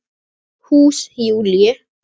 Hús Júlíu.